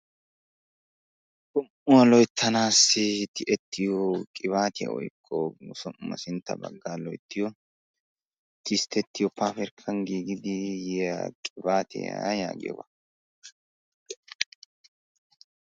Som'uwaa loyttanawu tiyiyo woykko tissttetiyo qibaatiya yaagiyooga.